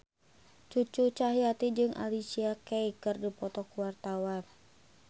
Cucu Cahyati jeung Alicia Keys keur dipoto ku wartawan